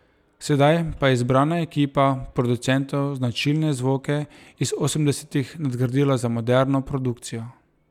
Sedaj pa je izbrana ekipa producentov značilne zvoke iz osemdesetih nadgradila z moderno produkcijo.